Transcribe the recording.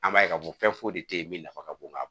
An b'a ye k'a fɔ fɛn foyi de tɛ yen min nafa ka bon ka ban